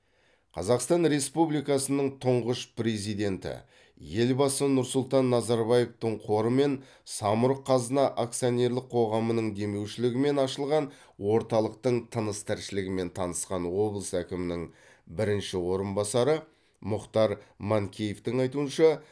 қазақстан республикасының тұңғыш президенті елбасы нұрсұлтан назарбаевтың қоры мен самұрық қазына акционерлік қоғамының демеушілігімен ашылған орталықтың тыныс тіршілігімен танысқан облыс әкімінің бірінші орынбасары мұхтар манкеевтің айтуынша